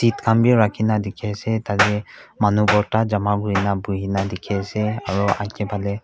khan b rakhi gina dikhi ase tade manu borta jama kuri na buhi na dikhi ase aro aage phale--